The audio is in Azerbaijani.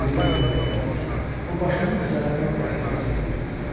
Birdən mənə elə gəldi ki, o başımın üzərinə qəhqəhə çəkib gülür.